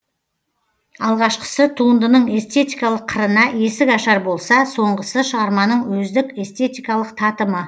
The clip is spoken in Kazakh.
алғашқысы туындының эстетикалық қырына есік ашар болса соңғысы шығарманың өздік эстетикалық татымы